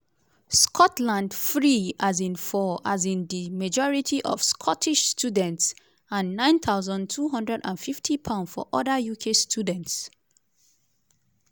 scotland: free um for um di majority of scottish students and £9250 for oda uk students.